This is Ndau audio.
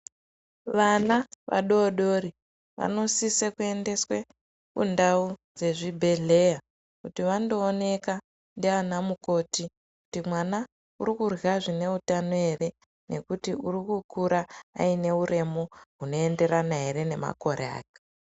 Vana vadodori vanosisa kuendeswa kundau dzezvibhedhlera kuti vandoonekwa ndiana mukoti kuti mwana arikurya zvine utano ere ngekuti arikukura aine uremu hunoenderana ere nemakore ake.